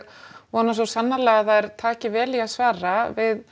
vona svo sannarlega að þær taki vel í að svara